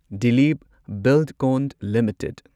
Dilip Buildcon limited